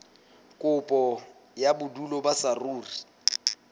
kopo ya bodulo ba saruri